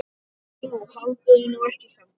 Jú, haldiði nú samt ekki.